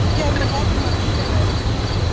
Og hvað gerðu Hermann og félagar í Þjóðstjórninni?